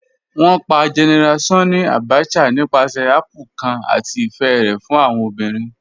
Wọn pà General Sanni Abacha nípàsẹ̀ àpplè̩̩̩̩ kan àti ifẹ̀ rẹ̀ fún awọn obìrín